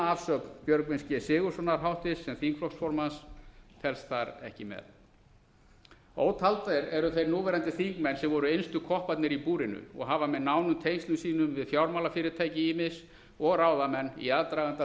spunaafsögn björgvins g sigurðssonar háttvirts sem þingflokksformanns telst þar ekki með ótaldir eru þeir núverandi þingmenn sem voru innstu kopparnir í búrinu og hafa með nánum tengslum sínum við fjármálafyrirtæki ýmis og ráðamenn í aðdraganda